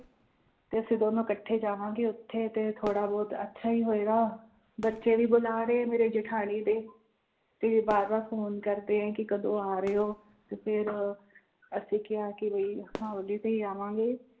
ਤੇ ਅਸੀਂ ਦੋਨੋਂ ਇਕੱਠੇ ਜਾਵਾਂਗੇ ਉੱਥੇ ਤੇ ਥੋੜ੍ਹਾ ਬਹੁਤ ਅੱਛਾ ਵੀ ਹੋਏਗਾ, ਬੱਚੇ ਵੀ ਬੁਲਾ ਰਹੇ ਮੇਰੇ ਜੇਠਾਣੀ ਦੇ ਤੇ ਵਾਰ ਵਾਰ phone ਕਰਦੇ ਹੈ ਕਿ ਕਦੋਂ ਆ ਰਹੇ ਹੋ ਤੇ ਫਿਰ ਅਸੀਂ ਕਿਹਾ ਕਿ ਵੀ ਹੋਲੀ ਤੇ ਹੀ ਆਵਾਂਗੇ।